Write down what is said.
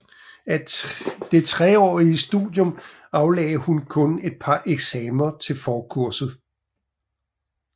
Af det treårige studium aflagde hun kun et par eksamener til forkurset